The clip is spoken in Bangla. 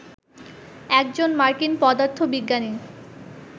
একজন মার্কিন পদার্থবিজ্ঞানী